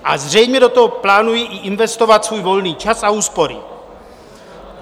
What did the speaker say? A zřejmě do toho plánují i investovat svůj volný čas a úspory.